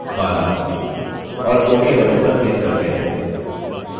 और ok button पर click करते हैं